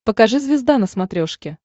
покажи звезда на смотрешке